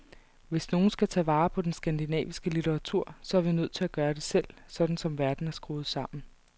Hvis nogen skal tage vare på den skandinaviske litteratur, så er vi nødt til at gøre det selv, sådan som verden er skruet sammen.